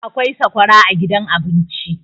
akwai sakwara a gidan abinci